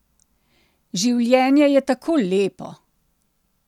Življenje je tako lepo.